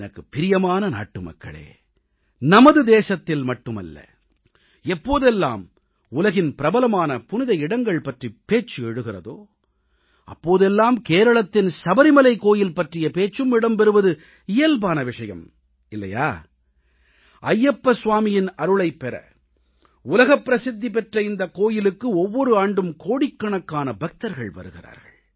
எனக்குப் பிரியமான நாட்டுமக்களே நமது தேசத்தில் மட்டுமல்ல எப்போதெல்லாம் உலகின் பிரபலமான புனித இடங்கள் பற்றிய பேச்சு எழுகிறதோ அப்போதெல்லாம் கேரளத்தின் சபரிமலை கோயில் பற்றிய பேச்சும் இடம்பெறுவது இயல்பான விஷயம் இல்லையா ஐயப்பனின் அருளைப் பெற உலகப்பிரசித்தி பெற்ற இந்தக் கோயிலுக்கு ஒவ்வொரு ஆண்டும் கோடிக்கணக்கான பக்தர்கள் வருகிறார்கள்